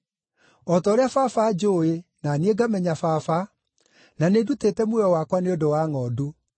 o ta ũrĩa Baba anjũũĩ, na niĩ ngamenya Baba, na nĩndutĩte muoyo wakwa nĩ ũndũ wa ngʼondu.